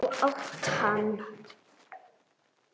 Átt þú hann?